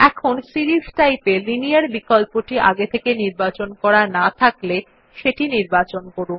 এখন series type এ linear বিকল্পটি আগে থেকেই নির্বাচন করা না থাকলে সেটি নির্বাচন করুন